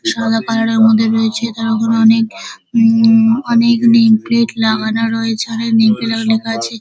সাদা কালার -এর মধ্যে রয়েছে তার উপর অনেক হুম অনেক নেমপ্লেট লাগানো রয়েছে অনেক নেমপ্লেট -এ লেখা আছে ।